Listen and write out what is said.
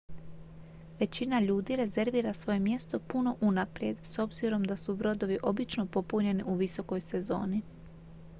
većina ljudi rezervira svoje mjesto puno unaprijed s obzirom da su brodovi obično popunjeni u visokoj sezoni